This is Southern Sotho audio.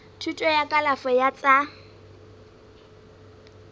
thuto ya kalafo ya tsa